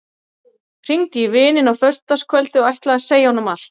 Hringdi í vininn á föstudagskvöldið og ætlaði að segja honum allt.